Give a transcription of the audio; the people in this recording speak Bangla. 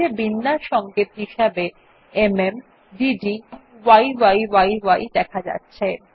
নীচে বিন্যাস সংকেত হিসাবে এমএম ডেড এবং ইয়ি দেখা যাচ্ছে